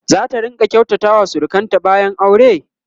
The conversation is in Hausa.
zata rinƙa kyautata wa surukanta bayan aure?